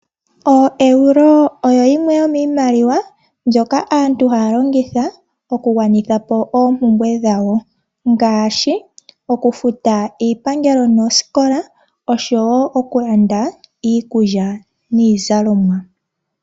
OoEuro oyo yimwe yomiimaliwa mbyoka aantu haya longitha, oku gwanitha po oompumbwe dhawo, ngaashi oku futa iipangelo, noosikola oshowo oku landa iikulya niizalomwa.